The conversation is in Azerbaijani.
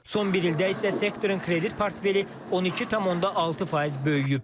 Son bir ildə isə sektorun kredit portfeli 12,6% böyüyüb.